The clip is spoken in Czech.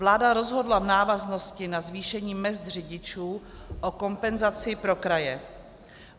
Vláda rozhodla v návaznosti na zvýšení mezd řidičů o kompenzaci pro kraje.